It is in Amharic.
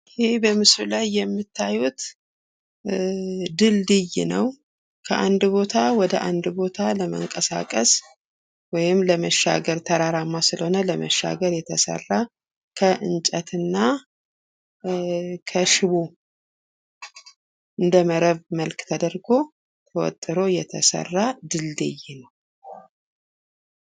ይህ በምስሉ ላይ የምታዩት ድልድይ ነው። ከአንድ ቦታ ወደ አንድ ቦታ ለመንቀሳቀስ ወይም ለመሻገር ተራራማ ስለሆነ ለመሻገር የተሰራ ከእንጨትና ከሽቦ እንደመረብ መልክ ተደርጎ ተወትሮ የተሰራ ድልድይ ነው።